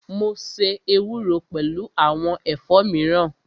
Mo ṣe ewúro pẹlu awọn ẹ̀fọ́ miran